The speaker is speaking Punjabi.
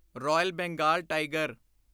royal Bengal tiger